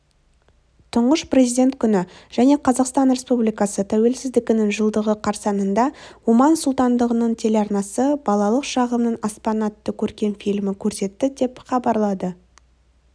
тұнғыш президент күні және қазақстан республикасы тәуелсіздігінің жылдығы қарсаңында оман сұлтандығының телеарнасы балалық шағымның аспаны атты көркем фильмі көрсетті деп іабарлады